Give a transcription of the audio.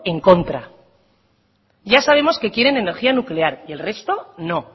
en contra ya sabemos que quieren energía nuclear y el resto no